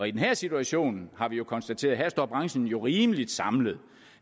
i den her situation har vi konstateret at branchen jo står rimelig samlet